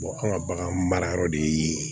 anw ka bagan mara yɔrɔ de ye